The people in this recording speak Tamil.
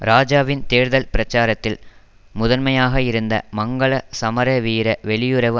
இராஜாவின் தேர்தல் பிரச்சாரத்தில் முதன்மையாக இருந்த மங்கள சமரவீர வெளியுறவு